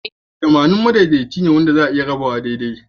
Tamanin madaidaici ne wanda za'a iya rabawa daidai.